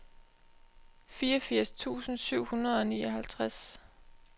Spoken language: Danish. fireogfirs tusind syv hundrede og nioghalvtreds